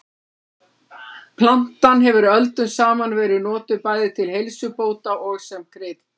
Plantan hefur öldum saman verið notuð bæði til heilsubóta og sem krydd.